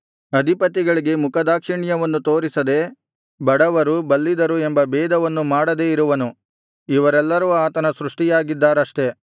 ಅಧಿಪತಿಗಳಿಗೆ ಮುಖದಾಕ್ಷಿಣ್ಯವನ್ನು ತೋರಿಸದೆ ಬಡವರು ಬಲ್ಲಿದರು ಎಂಬ ಭೇದವನ್ನು ಮಾಡದೆ ಇರುವನು ಅವರೆಲ್ಲರೂ ಆತನ ಸೃಷ್ಟಿಯಾಗಿದ್ದಾರಷ್ಟೆ